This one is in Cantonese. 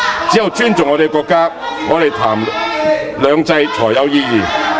只有尊重我們的國家，我們談"兩制"才有意義。